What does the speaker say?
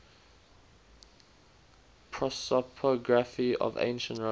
prosopography of ancient rome